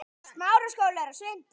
Hvað heitir hann aftur?